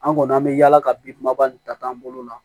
An kɔni an bɛ yaala ka bin maba nin ta k'an bolo la